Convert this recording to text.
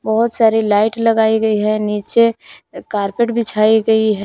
बहुत सारी लाइट लगाई गई है नीचे कारपेट बिछाई गई है।